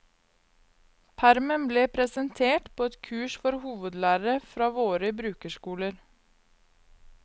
Permen ble presentert på et kurs for hovedlærere fra våre brukerskoler.